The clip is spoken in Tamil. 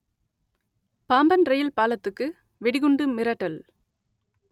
பாம்பன் ரெயில் பாலத்துக்கு வெடிகுண்டு மிரட்டல்